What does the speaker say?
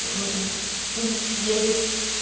едет